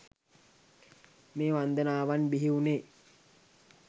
මේ වන්දනාවන් බිහි වුනේ